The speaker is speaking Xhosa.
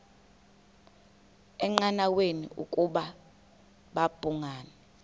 engqanweni ukuba babhungani